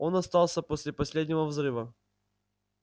он остался после последнего взрыва